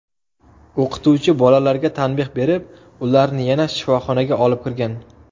O‘qituvchi bolalarga tanbeh berib, ularni yana sinfxonaga olib kirgan.